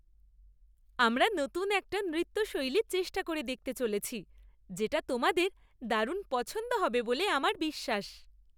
আমরা নতুন একটা নৃত্য শৈলী চেষ্টা করে দেখতে চলেছি, যেটা তোমাদের দারুণ পছন্দ হবে বলে আমার বিশ্বাস।